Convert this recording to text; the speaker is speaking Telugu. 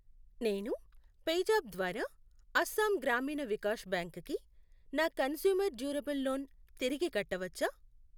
నేను పేజాప్ ద్వారా అస్సాం గ్రామీణ వికాష్ బ్యాంక్ కి నా కంజ్యూమర్ డ్యూరబుల్ లోన్ తిరిగి కట్టవచ్చా?